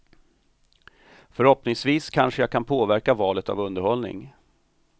Förhoppningsvis kanske jag kan påverka valet av underhållning.